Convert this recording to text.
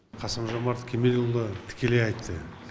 қасым жомарт кемелұлы тікелей айтты